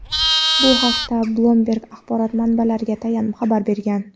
Bu haqda "Bloomberg" axborot manbalariga tayanib xabar bergan.